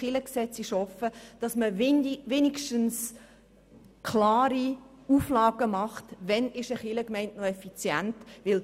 Man sollte die Chance nutzen und klare Auflagen verfassen, bis wann eine Kirchgemeinde noch effizient ist.